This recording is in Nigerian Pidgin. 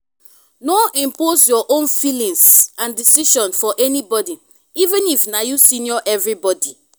no impose your own feelings and decision for anybody even if na you senior everybody